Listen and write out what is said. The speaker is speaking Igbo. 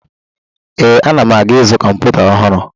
Ee, ana m aga izu kọmputa ọhụrụ.